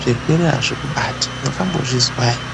zvirwere hazvikubati. Makambozvizwa here?